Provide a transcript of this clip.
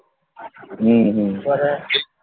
হম হম